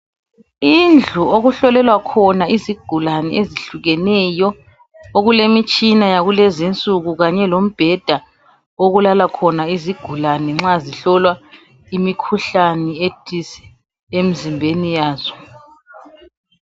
Indlu okuhlolelwa khona izigulane ezitshiyeneyo okulemitshina yakulezinsuku kanye lombheda okulala khona izigulane nxa zihlolwa imikhuhlane ethize emzimbeni yazo.